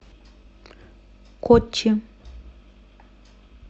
коччи